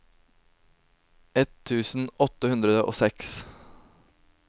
ett tusen åtte hundre og seks